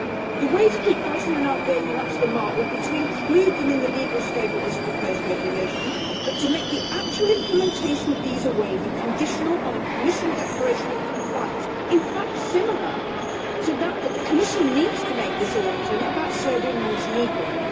The way to keep Bosnia and Albania up to the mark would be to include them in the legal scope of this proposed regulation, but to make the actual implementation of visa waiver conditional on a Commission declaration of compliance in fact, similar to that which the Commission needs to make this autumn about Serbia and Montenegro.